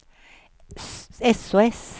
sos